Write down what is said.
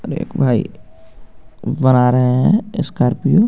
एक भाई बना रहे हे स्कारपीओ .